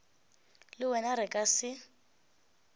le wena re ka se